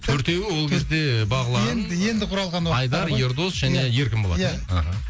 төртеуі ол кезде бағлан енді енді құралған уақыттары ғой айдар ердос иә және еркін болатын иә мхм